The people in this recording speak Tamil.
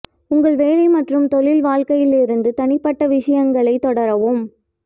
உங்கள் வேலை மற்றும் தொழில் வாழ்க்கையில் இருந்து தனிப்பட்ட விஷயங்களைத் தொடரவும்